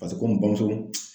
Paseke bamuso